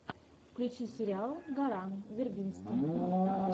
включи сериал гора вербински